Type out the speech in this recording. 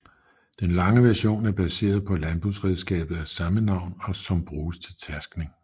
Den lange version er baseret på landbrugsredskabet af samme navn som bruges til tærskning